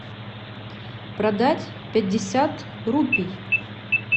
продать пятьдесят рупий